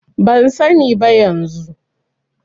Ban sani ba yanzu.